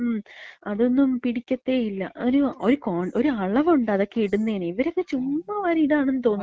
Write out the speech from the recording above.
മ്. അതൊന്നും പിടിക്കത്തേയില്ല. ഒരു കോ, ഒരു അളവ്ണ്ട് അതൊക്കെ ഇട്ന്നേന്. ഇവരൊക്കെ ചുമ്മാ വാരി ഇടാണെന്ന് തോന്നുന്നു.